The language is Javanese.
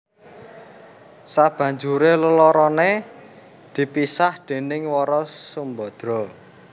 Sabanjuré leloroné dipisah déning Wara Sumbadra